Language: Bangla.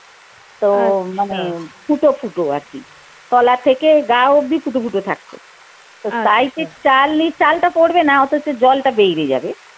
তো মানে ফুটো ফুটো আরকি তলা থেকে গা অব্দি ফুটো ফুটো থাকত চাল নি চালটা পরবে না অথচ জলটা বেরিয়ে যাবে।